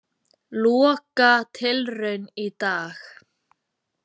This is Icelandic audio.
Lokatilraun í dag